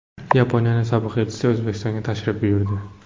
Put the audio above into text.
Yaponiyaning sobiq elchisi O‘zbekistonga tashrif buyurdi.